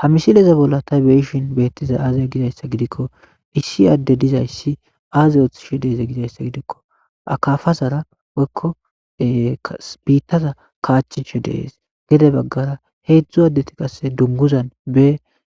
ha misileza bolla ta beyishin beettiza aazee gizayssa gidikko issi aadde dizayssi aaze oothishe deeze gizayssa gidikko akafazara woykko biittaza kaachishe dees gede baggara heedzdzu addeti qasse dunguzan be